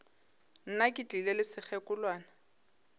nna ke tlile le sekgekolwana